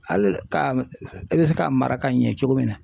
Hali ka e bɛ se k'a mara ka ɲɛ cogo min na.